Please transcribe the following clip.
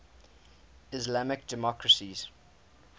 islamic democracies